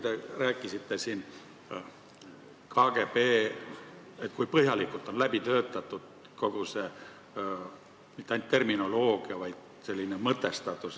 Te rääkisite siin KGB-st – kui põhjalikult on läbi mõeldud mitte ainult terminoloogia, vaid kogu selle töö mõtestatus.